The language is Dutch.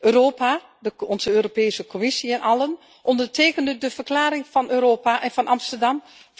Europa, onze Europese Commissie en allen onderteken de verklaring van Europa en van Amsterdam!